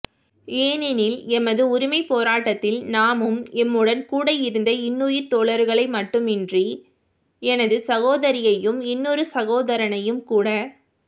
ஏனெனில் எமது உரிமைப்போராட்டத்தில் நாமும் எம்முடன் கூட இருந்த இன்னுயிர் தோழர்களை மட்டுமன்றி எனது சகோதரியையும் இன்னொரு சகோதரனையும் கூட